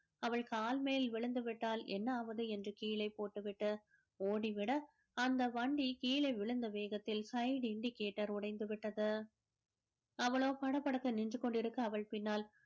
அவள் கால்மேல் விழிந்து விட்டால் என்ன ஆவது என்று கீழே போட்டுவிட்டு ஓடிவிட அந்த வண்டி கீழே விழுந்த வேகத்தில் side indicator உடைந்து விட்டது அவளோ படபடத்து நின்று கொண்டிருக்க அவள் பின்னால்